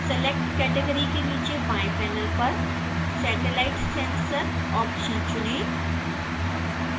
select category के नीचे बाएं पैनल पर satellite/sensor ऑप्शन चुनें